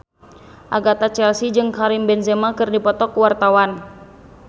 Agatha Chelsea jeung Karim Benzema keur dipoto ku wartawan